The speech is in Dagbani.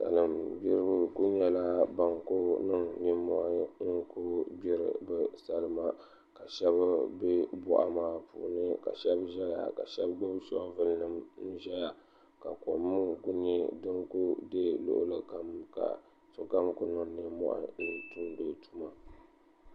Salin gbiribi ku nyɛla ban ku niŋ nimmohi n gbiri bi salima ka shab bɛ boɣa maa puuni ka shab ʒɛya ka shab gbubi shoovul nim ʒɛya ka kom ŋo ku nyɛ din ku deei luɣuli kam ka sokam ku niŋ nimmohi n tumdi o tuma